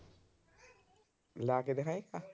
ਲਾ ਕੇ ਦਿਖਾਈ।